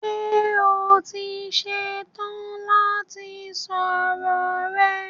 Ṣé o ti ṣe tán láti sọ̀rọ̀ rẹ?